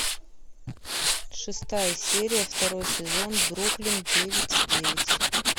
шестая серия второй сезон бруклин девять девять